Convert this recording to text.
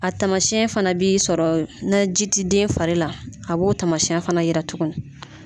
A taamasiyɛn fana b'i sɔrɔ nɛ ji ti den fari la a b'o taamasiyɛn fana yira tuguni